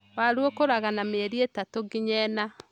Waru ũkũraga na mĩeri ĩtatũ nginya ĩna.